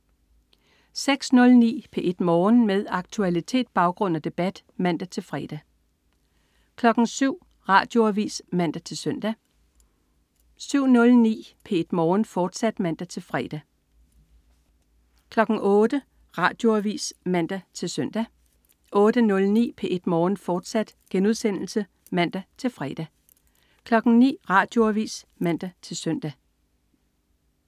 06.09 P1 Morgen. Med aktualitet, baggrund og debat (man-fre) 07.00 Radioavis (man-søn) 07.09 P1 Morgen, fortsat (man-fre) 08.00 Radioavis (man-søn) 08.09 P1 Morgen, fortsat* (man-fre) 09.00 Radioavis (man-søn)